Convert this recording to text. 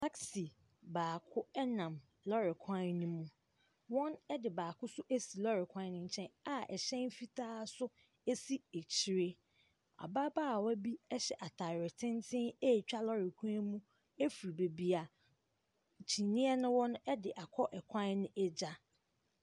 Tasi baako ɛnam lɔɔre kwan ne mu. Wɔn ɛde baako so esi lɔɔre kwan ne nkyɛn a ɛhyɛn fitaa so esi ekyire. Ababaawa bi ɛhyɛ ataareɛ tenten eetwa lɔɔre kwan mu efi bebia kyiniiɛ ne wɔ no ɛde akɔ ɛkwan no egya.